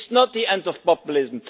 It is not the end of populism.